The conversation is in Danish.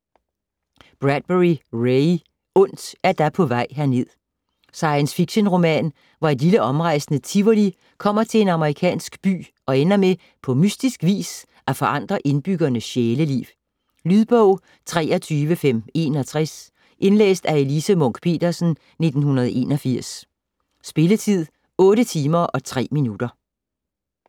Bradbury, Ray: Ondt er da på vej herned Science fiction-roman, hvor et lille omrejsende tivoli kommer til en amerikansk by og ender med på mystisk vis at forandre indbyggernes sjæleliv. Lydbog 23561 Indlæst af Elise Munch-Petersen, 1981. Spilletid: 8 timer, 3 minutter.